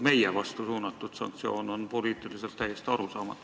Meie vastu suunatud sanktsioon on mulle poliitiliselt täiesti arusaamatu.